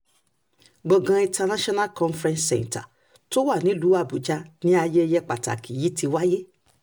gbọ̀ngàn international conference centre tó wà nílùú àbújá ni ayẹyẹ pàtàkì yìí ti wáyé